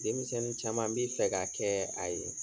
Denmisɛnninn caman bi fɛ ka kɛɛ a ye.